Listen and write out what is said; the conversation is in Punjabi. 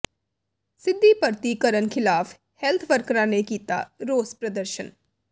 ਸਿੱਧੀ ਭਰਤੀ ਕਰਨ ਖਿਲਾਫ਼ ਹੈਲਥ ਵਰਕਰਾਂ ਨੇ ਕੀਤਾ ਰੋਸ ਪ੍ਰਦਰਸ਼ਨ